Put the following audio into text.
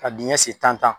Ka dingɛ sen tan